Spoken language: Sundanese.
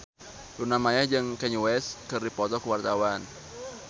Luna Maya jeung Kanye West keur dipoto ku wartawan